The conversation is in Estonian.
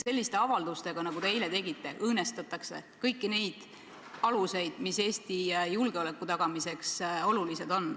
Selliste avaldustega, nagu te eile tegite, õõnestatakse kõiki neid aluseid, mis Eesti julgeoleku tagamiseks on olulised.